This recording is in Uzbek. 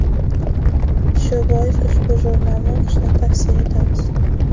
Shu bois ushbu jurnalni o‘qishni tavsiya etamiz.